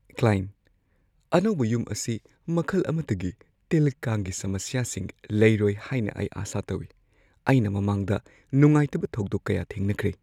Client: "ꯑꯅꯧꯕ ꯌꯨꯝ ꯑꯁꯤ ꯃꯈꯜ ꯑꯃꯠꯇꯒꯤ ꯇꯤꯜ-ꯀꯥꯡꯒꯤ ꯁꯃꯁ꯭ꯌꯥꯁꯤꯡ ꯂꯩꯔꯣꯏ ꯍꯥꯏꯅ ꯑꯩ ꯑꯥꯁꯥ ꯇꯧꯏ; ꯑꯩꯅ ꯃꯃꯥꯡꯗ ꯅꯨꯡꯉꯥꯏꯇꯕ ꯊꯧꯗꯣꯛ ꯀꯌꯥ ꯊꯦꯡꯅꯈ꯭ꯔꯦ꯫"